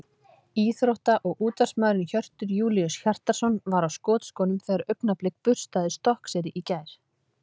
Íþrótta- og útvarpsmaðurinn Hjörtur Júlíus Hjartarson var á skotskónum þegar Augnablik burstaði Stokkseyri í gær.